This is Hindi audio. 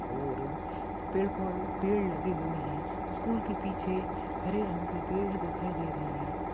और पेड़ पौ पेड़ लगे हुए है स्कूल के पीछे हरे रंग के पेड़ दिखाई दे रहे है।